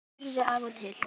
Hrærðu af og til.